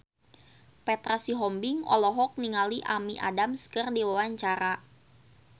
Petra Sihombing olohok ningali Amy Adams keur diwawancara